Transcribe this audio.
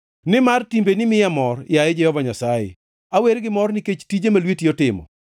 Nimar timbeni miya mor, yaye Jehova Nyasaye; awer gi mor nikech tije ma lweti otimo.